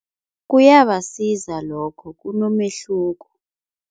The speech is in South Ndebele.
Kuyabasiza lokho kunomehluko.